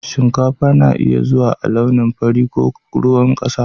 Shinkafa na iya zuwa a launin fari ko ruwan ƙasa.